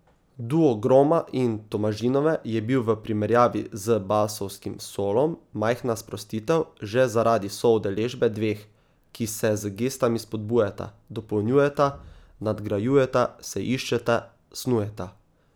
Duo Groma in Tomažinove je bil v primerjavi z basovskim solom majhna sprostitev, že zaradi soudeležbe dveh, ki se z gestami spodbujata, dopolnjujeta, nadgrajujeta, se iščeta, snujeta.